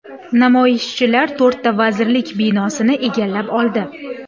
Namoyishchilar to‘rtta vazirlik binosini egallab oldi.